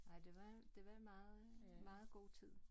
Nej det var det en meget meget god tid